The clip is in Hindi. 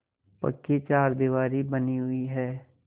पक्की चारदीवारी बनी हुई है